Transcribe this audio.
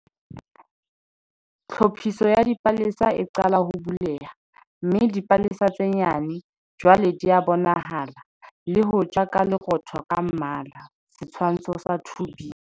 Tlhophiso ya dipalesa e qala ho buleha, mme dipalesa tse nyane jwale di a bonahala le hoja ka lerootho ka mmala. Setshwantsho sa 2b.